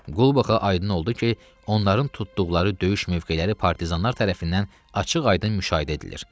Qulbaxa aydın oldu ki, onların tutduqları döyüş mövqeləri partizanlar tərəfindən açıq-aydın müşahidə edilir.